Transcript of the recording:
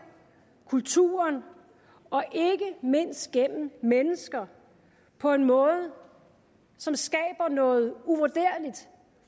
kultur og ikke mindst gennem mennesker på en måde som skaber noget uvurderligt